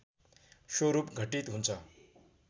स्वरूप घटित हुन्छ